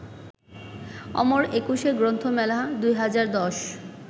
Amar Ekushey Granthamela ২০১০